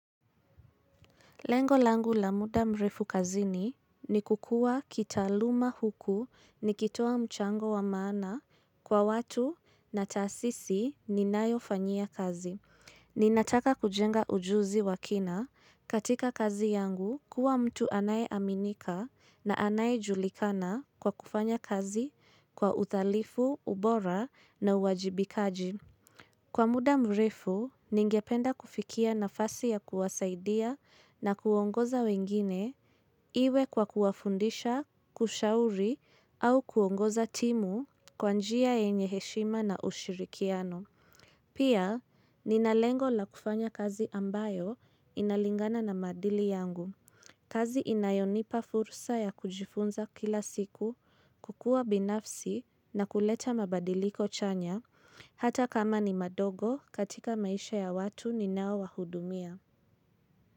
Lengo langu la muda mrefu kazini ni kukuwa kitaluma huku ni kitoa mchango wa maana kwa watu na tasisi ninayofanyia kazi. Ninataka kujenga ujuzi wakina katika kazi yangu kuwa mtu anaye aminika na anaye julikana kwa kufanya kazi kwa udhalifu, ubora na uwajibikaji. Kwa muda mrefu, ningependa kufikia nafasi ya kuwasaidia na kuongoza wengine iwe kwa kuwafundisha, kushauri, au kuongoza timu kwa njia yenye heshima na ushirikiano. Pia, ninalengo la kufanya kazi ambayo inalingana na madili yangu. Kazi inayonipa furusa ya kujifunza kila siku kukua binafsi na kuleta mabadiliko chanya hata kama ni madogo katika maisha ya watu ni nao wahudumia.